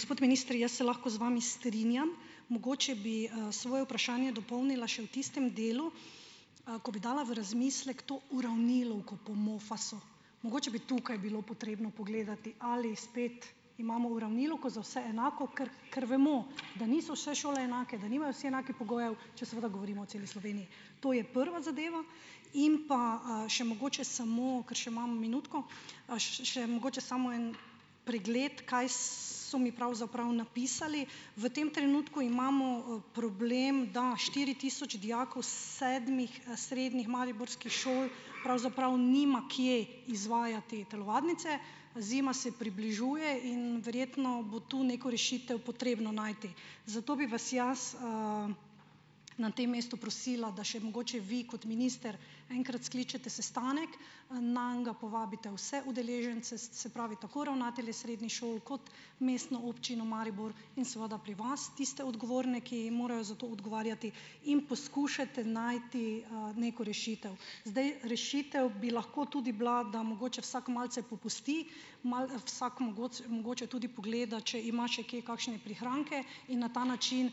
Gospod minister, jaz se lahko z vami strinjam. Mogoče bi, svoje vprašanje dopolnila še v tistem delu, ko bi dala v razmislek to uravnilovko po MOFAS-u, mogoče bi tukaj bilo potrebno pogledati, ali spet imamo uravnilovko za vse enako, ker ker vemo, da niso vse šole enake, da nimajo vsi enakih pogojev, če seveda govorimo o celi Sloveniji. To je prva zadeva. In pa, še mogoče samo, ker še imam minutko, še mogoče samo en pregled, kaj so mi pravzaprav napisali. V tem trenutku imamo, problem, da štiri tisoč dijakov sedmih, srednjih mariborskih šol pravzaprav nima kje izvajati telovadnice, zima se približuje in verjetno bo tu neko rešitev potrebno najti. Zato bi vas jaz, na tem mestu prosila, da še mogoče vi kot minister enkrat skličete sestanek, nanj povabite vse udeležence, se se pravi, tako ravnatelje srednjih šoli kot Mestno občino Maribor in seveda pri vas tiste odgovorne, ki jim morajo za to odgovarjati, in poskušate najti, neko rešitev. Zdaj, rešitev bi lahko tudi bila, da mogoče vsak malce popusti, vsak mogoče tudi pogleda, če ima še kje kakšne prihranke in na ta način,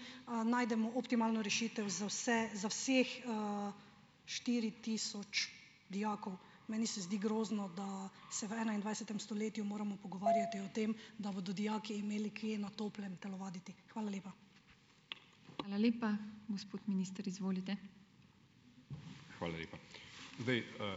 najdemo optimalno rešitev za vse za vseh, štiri tisoč dijakov. Meni se zdi grozno, da se v enaindvajsetem stoletju moramo pogovarjati o tem, da bodo dijaki imeli kje na toplem telovaditi. Hvala lepa.